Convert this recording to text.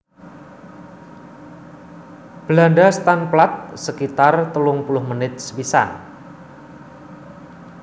Belanda staan plaat sekitar telung puluh menit sepisan